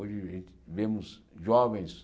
Hoje a gente vemos jovens...